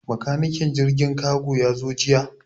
Makanikin jirgin kago ya zo jiya.